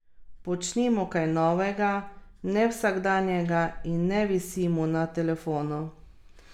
Počnimo kaj novega, nevsakdanjega in ne visimo na telefonu.